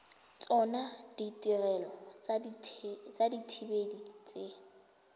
tsona ditirelo tsa dithibedi tse